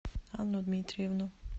анну дмитриевну